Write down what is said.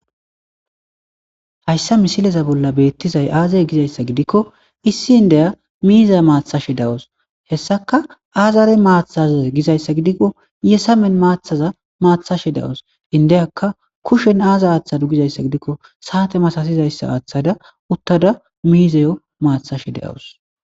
Hayssa missileza bolla bettizay aaze giizayssa gidikko issi indiya miiza maththashe de'awsu hessaka aazara maathaze gizayssa giidiko yessamen maaththaza mathashe de'awusu indiyaka kushshen aaza athade gizayssa gidiko sa'ate masatizayssa aaththada uttada miiziyo maththashe de'awusu.